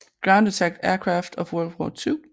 Ground Attack Aircraft of World War II